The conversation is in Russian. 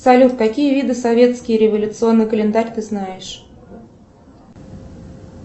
салют какие виды советский революционный календарь ты знаешь